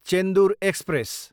Chendur express